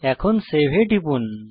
এখন সেভ এ টিপুন